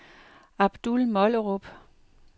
Abdul Mollerup